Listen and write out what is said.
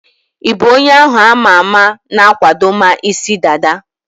Ị bụ onye ahu ama ama na-akwadoma isi dada?